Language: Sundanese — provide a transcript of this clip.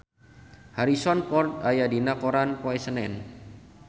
Harrison Ford aya dina koran poe Senen